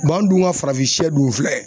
an dun ka farafin sɛ dun filɛ